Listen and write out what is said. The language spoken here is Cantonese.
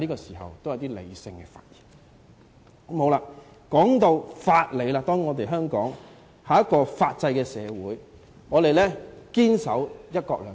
說到法理，當然，香港是法制社會，我們堅守"一國兩制"。